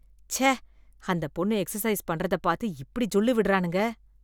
ச்சே அந்த பொண்ணு எக்ஸைஸ் பண்றதை பார்த்து இப்படி ஜொள்ளு விட்றானுங்க.